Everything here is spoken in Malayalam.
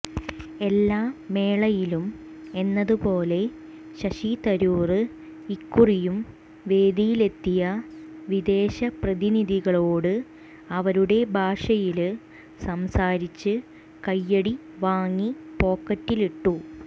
എല്ലാ മേളയിലും എന്നതുപോലെ ശശി തരൂര് ഇക്കുറിയും വേദിയിലെത്തിയ വിദേശ പ്രധിനിധികളോട് അവരുടെ ഭാഷയില് സംസാരിച്ച് കൈയ്യടി വാങ്ങി പോക്കറ്റിലിട്ടു